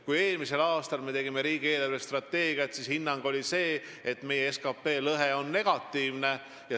Kui me eelmisel aastal riigi eelarvestrateegiat tegime, siis oli hinnang selline, et meie SKT lõhe on negatiivne.